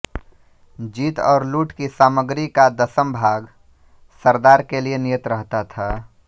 जीत और लूट की सामग्री का दशम भाग सरदार के लिये नियत रहता था